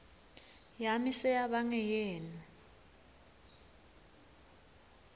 yami seyaba ngeyenu